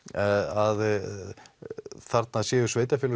að þarna séu sveitarfélög